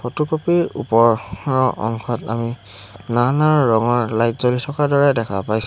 Photocopy ৰ ওপৰৰ অংশত আমি নানা ৰঙৰ লাইট জ্বলি থকাৰ দৰে দেখা পাইছোঁ।